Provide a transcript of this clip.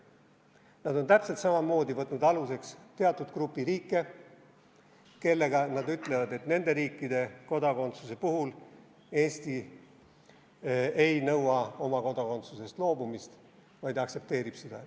Nad on täpselt samamoodi võtnud aluseks teatud grupi riike, kelle kohta nad ütlevad, et nende riikide kodakondsuse puhul nad ei nõua oma kodakondsusest loobumist, vaid aktsepteerivad seda.